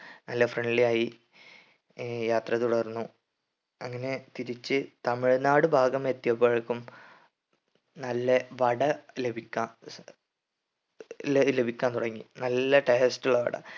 നല്ല friendly ആയി ആഹ് യാത്ര തുടർന്നു അങ്ങനെ തിരിച്ച് തമിഴ്‌നാട്‌ ഭാഗം എത്തിയപ്പോഴേക്കും നല്ല വട ലഭിക്കാ ല ലഭിക്കാൻ തുടങ്ങി നല്ല taste ഉള്ള വട